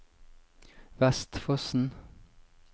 Vestfossen